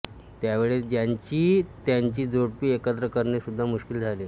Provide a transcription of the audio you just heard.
त्यावेळी ज्यांची त्यांची जोडपी एकत्र करणे सुद्धा मुश्किल झाले